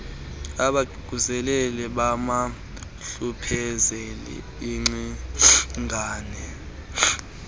abaququzeleli mabahlupheze iingcingane